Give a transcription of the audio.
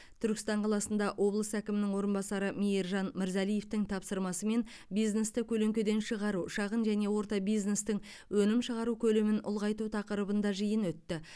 түркістан қаласында облыс әкімінің орынбасары мейіржан мырзалиевтің тапсырмасымен бизнесті көлеңкеден шығару шағын және орта бизнестің өнім шығару көлемін ұлғайту тақырыбында жиын өтті